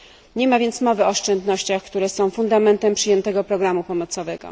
Nie ma więc mowy o oszczędnościach, które są fundamentem przyjętego programu pomocowego.